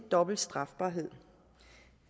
og dobbelt strafbarhed